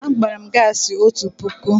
Agbara m gaasị otu puku.